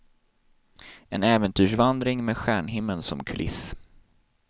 En äventyrsvandring med stjärnhimmeln som kuliss.